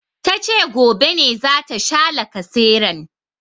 Tace gobe ne zata sha lacaseran